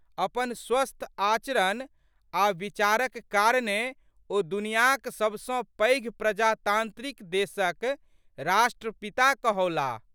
अपन स्वस्थ आचरण आ विचारक कारणेँ ओ दुनियाँक सबसँ पैघ प्रजातांत्रिक देशक राष्ट्रपिता कहओलाह।